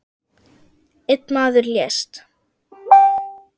Einn maður lést.